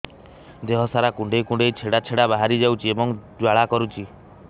ଦେହ ସାରା କୁଣ୍ଡେଇ କୁଣ୍ଡେଇ ଛେଡ଼ା ଛେଡ଼ା ବାହାରି ଯାଉଛି ଏବଂ ଜ୍ୱାଳା କରୁଛି